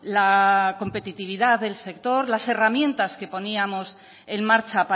la competitividad del sector las herramientas que poníamos en marcha